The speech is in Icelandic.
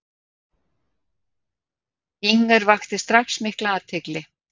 Inger vakti strax mikla athygli.